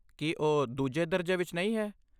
ਕੀ ਉਹ ਦੂਜੇ ਦਰਜੇ ਵਿੱਚ ਨਹੀਂ ਹੈ?